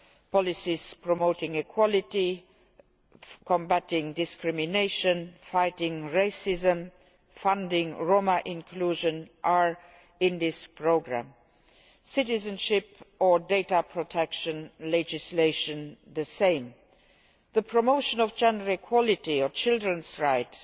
Policies promoting equality, combating discrimination, fighting racism, and funding Roma inclusion are in this programme, as are citizenship and data protection legislation. The promotion of gender equality and children's rights